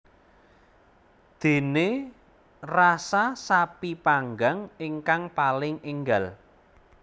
Dene rasa sapi panggang ingkang paling enggal